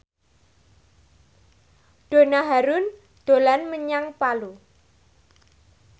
Donna Harun dolan menyang Palu